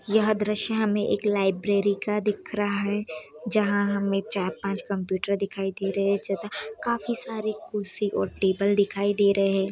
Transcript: यह दृश्य हमें एक लाइब्रेरी का दिख रहा है जहाँ हमें चार पाँच कंप्युटर दिखाई दे रहे हैं काफी सारे कुर्सी और टेबल दिखाई दे रहें है।